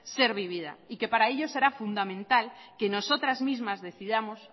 ser vivida para que ello será fundamental que nosotras mismas decidamos